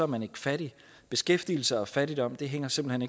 man ikke fattig beskæftigelse og fattigdom hænger simpelt